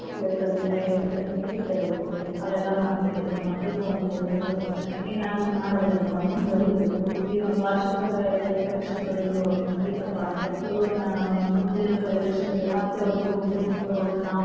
ತಂದಿ ತಾಯಿ ಹೇಳಿದೆಲ್ಲಾ ಕೇಳ್ತಾ ಇರ್ಬೇಕು, ಅವೆಲ್ಲಾ ಮಾಡ್ತಾ ಇದ್ರ ಮಕ್ಕಳೀಗ ಒಂದು ಹುರುಪ ಬರತ್ತ, ಏನಾದ್ರು ಮಾಡ್ಬೇಕಪ್ಪಾ, ಮುಂದವರೀಬೇಕು ಇದೊಂದ ವಾರ್ಷಿಕದಪರೀಕ್ಷೆ ಬರದು ಮುಗೀತಪಾ ಅಂದ್ರೆ ಗುರುವನ್ನ ಮುಂದಿನ ಪರೀಕ್ಷೆಗೆ ಮತ್ತ ಅವ್ರಿಗೆ ಹುರುಪ್ ಬರೂಹಂಗ ನಾವ.